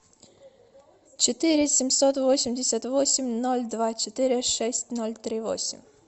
четыре семьсот восемьдесят восемь ноль два четыре шесть ноль три восемь